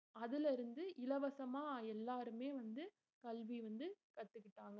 அதுல இருந்து இலவசமா எல்லாருமே வந்து கல்வி வந்து கத்துக்கிட்டாங்க